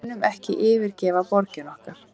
Við munum ekki yfirgefa borgirnar okkar